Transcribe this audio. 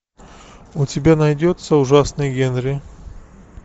у тебя найдется ужасный генри